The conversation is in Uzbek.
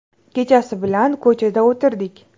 Kechasi bilan ko‘chada o‘tirdik.